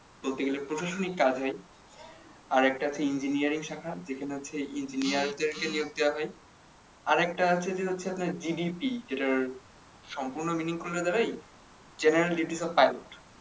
বলতে গেলে প্রসাশনিক কাজে আর একটা আছে engineering শাখা যেখানে হচ্ছে ইঞ্জিয়ারদের নিয়োগ দেয়া হয় আর একটা আছে যে হচ্ছে GDP যেটার সম্পূর্ণ meaning করলে দাঁড়ায় যে general duties of